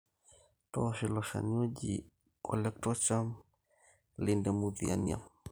toosho ilo shani oji (Colletotrichum lindemuthianum)